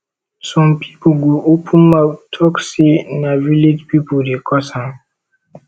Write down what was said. som pipo go open mouth tok sey na village pipo dey cause am